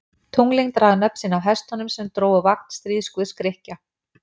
Tunglin draga nöfn sín af hestunum sem drógu vagn stríðsguðs Grikkja.